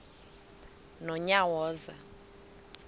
nonyawoza